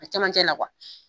A cɛmancɛ la